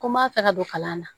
Ko n b'a fɛ ka don kalan na